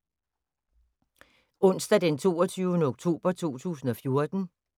Onsdag d. 22. oktober 2014